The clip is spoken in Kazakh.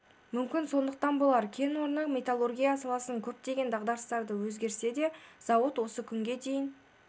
мүмкін сондықтан болар кен орны металлургия саласындағы көптеген дағдарыстарды өткерсе де зауыт осы күнге дейін